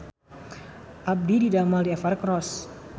Abdi didamel di Evercross